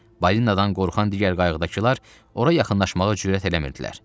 Balinnadan qorxan digər qayıqdakılar ora yaxınlaşmağa cürət eləmirdilər.